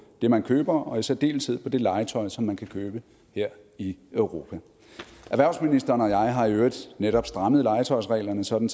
det man køber og i særdeleshed til det legetøj som man kan købe her i europa erhvervsministeren og jeg har i øvrigt netop strammet legetøjsreglerne sådan